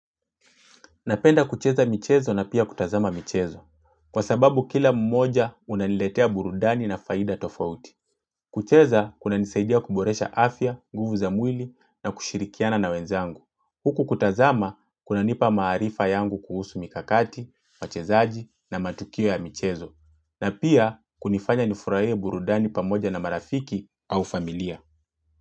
Napenda kucheza michezo na pia kutazama michezo. Kwa sababu kila mmoja unaniletea burudani na faida tofauti. Kucheza, kuna nisaidia kuboresha afya, nguvu za mwili na kushirikiana na wenzangu. Huku kutazama, kuna nipa maarifa yangu kuhusu mikakati, machezaji na matukio ya michezo. Na pia, kunifanya nifurahie burudani pamoja na marafiki au familia.